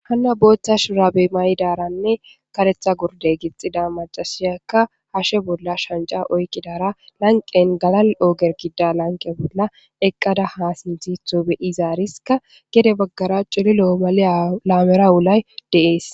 Hanna booththa shurabe maydaranne karetha gurde gixxida macasiyakka hashe bolla shanja oykki dara lanqen gala ooger kida lanqe bolla eqqada haa sinthitho beyizaariska gede baggara culilo7o male laamera wulay deees.